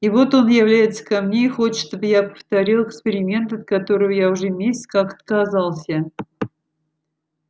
и вот он является ко мне и хочет чтобы я повторил эксперимент от которого я уже месяц как отказался